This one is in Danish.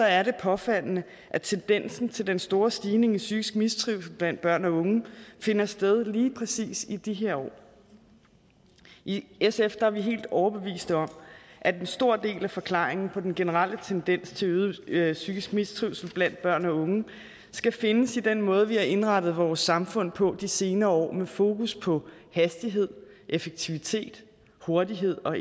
er det påfaldende at tendensen til den store stigning i psykisk mistrivsel blandt børn og unge finder sted lige præcis i de her år i sf er vi helt overbeviste om at en stor del af forklaringen på den generelle tendens til øget psykisk mistrivsel blandt børn og unge skal findes i den måde vi har indrettet vores samfund på de senere år med fokus på hastighed effektivitet hurtighed og